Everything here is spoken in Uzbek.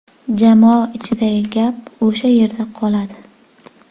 Jamoa ichidagi gap o‘sha yerda qoladi.